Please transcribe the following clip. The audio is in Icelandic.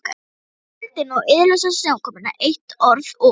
Pétur upp í vindinn og iðulausa snjókomuna, eitt orð og